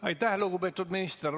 Aitäh, lugupeetud minister!